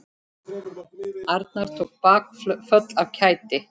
Arnar tók bakföll af kæti.